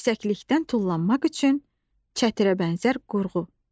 Yüksəklikdən tullanmaq üçün çətirə bənzər qurğu.